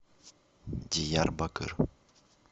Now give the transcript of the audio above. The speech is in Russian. диярбакыр